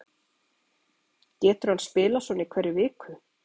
Getur hann spilað svona í hverri viku?